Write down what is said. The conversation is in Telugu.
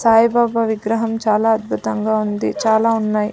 సాయిబాబా విగ్రహం చాలా అద్భుతంగా ఉంది చాలా ఉన్నాయ్.